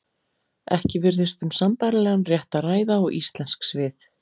Ekki virðist um sambærilegan rétt að ræða og íslensk svið.